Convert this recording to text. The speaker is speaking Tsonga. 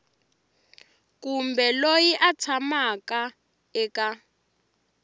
kumbe loyi a tshamaka eka